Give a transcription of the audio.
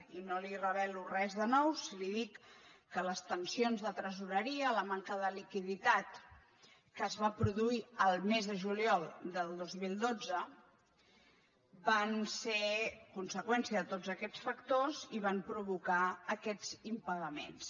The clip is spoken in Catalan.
i no li reve·lo res de nou si li dic que les tensions de tresoreria la manca de liquiditat que es va produir el mes de juliol del dos mil dotze van ser conseqüència de tots aquests factors i van provocar aquests impagaments